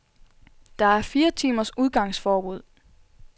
Der er fire timers udgangsforbud.